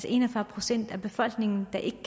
en og fyrre procent af befolkningen der ikke